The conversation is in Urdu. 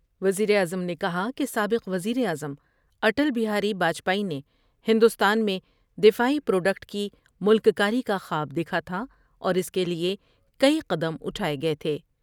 وزیر اعظم نے کہا کہ سابق وزیر اعظم اٹل بہاری باجپئی نے ہندوستان میں دفاعی پروڈکٹ کی ملک کاری کا خواب دیکھا تھا اور اس کے لئے کئی قدم اٹھائے گئے تھے ۔